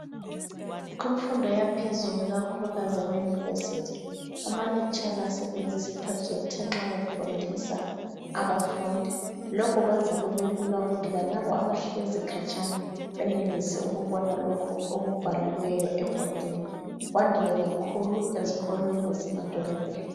Kumfundo yaphezulu ikakhulukazi eyama University amalecturer asebenzisa iprojector nxa befundisa abafundi. Lokhu kuyenza kube lula ukuthi lalabo abahlezi khatshana beyenelise ukubona lokhu okubhaliweyo ebhodini. Kwandile kakhulu ezikolo ezisemadolobheni.